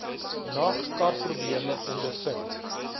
nag karprobleme ondervind